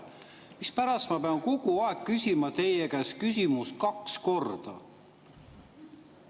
Mispärast ma pean kogu aeg küsima teie käest küsimust kaks korda?